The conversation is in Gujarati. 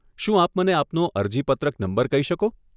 શું આપ મને આપનો અરજીપત્રક નંબર કહી શકો?